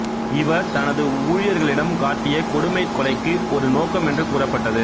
இவர் தனது ஊழியர்களிடம் காட்டிய கொடுமை கொலைக்கு ஒரு நோக்கம் என்று கூறப்பட்டது